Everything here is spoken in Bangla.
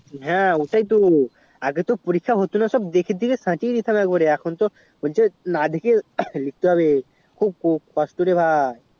হ্যাঁ ওটাই তো আগে তো পরীক্ষা হতো না সব দেখে দেখে সাঁটিয়ে দিতাম এক বাড়ে আমি তো এখন তো আমাকে না দেখে লিখতে হবে খুব কষ্ট রে ভাই